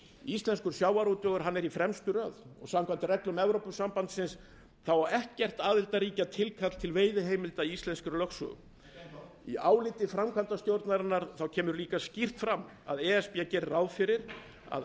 íslenskur sjávarútvegur er í fremstu röð samkvæmt reglum evrópusambandsins á ekkert aðildarríkja tilkall til veiðiheimilda í íslenskri lögsögu ekki enn þá í áliti framkvæmdastjórnarinnar kemur líka skýrt fram að e s b gerir ráð fyrir að